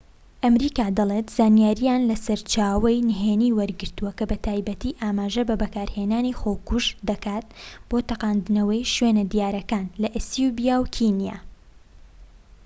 ئەمریکا دەڵێت زانیاری لە سەرچاوەی نهێنی وەرگرتووە کە بە تایبەتی ئاماژە بە بەکارهێنانی خۆکوژ دەکات بۆ تەقاندنەوەی شوێنە دیارەکان لە ئەسیوبیا و کینیا